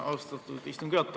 Austatud istungi juhataja!